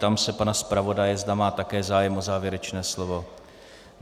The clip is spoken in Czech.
Ptám se pana zpravodaje, zda má také zájem o závěrečné slovo.